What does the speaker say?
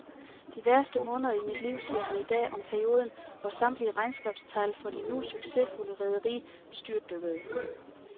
De værste måneder i mit liv, siger han i dag om perioden, hvor samtlige regnskabstal for det nu succesfulde rederi styrtdykkede.